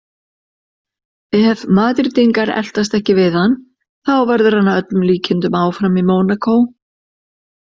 Ef Madrídingar eltast ekki við hann þá verður hann að öllum líkindum áfram í Mónakó.